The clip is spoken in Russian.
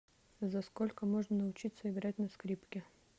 за сколько можно научиться играть на скрипке